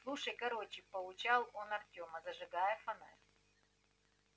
слушай короче поучал он артема зажигая фонарь